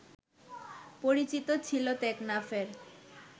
পরিচিতি ছিল টেকনাফের